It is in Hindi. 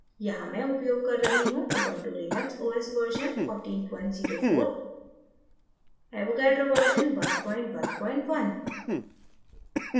यहाँ मैं उपयोग कर रही हूँ ubuntu linux os version 1404